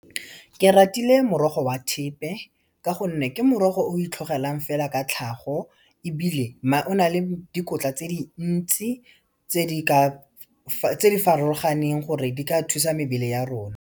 Ke ratile morogo wa thepe, ka gonne ke morogo o itlhogelang fela ka tlhago ebile o na le dikotla tse dintsi tse di farologaneng gore di ka thusa mebele ya rona.